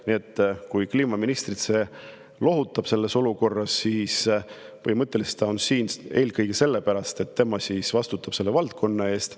Nii et kui see kliimaministrit praeguses olukorras lohutab, siis põhimõtteliselt on ta siin eelkõige sellepärast, et tema vastutab selle valdkonna eest.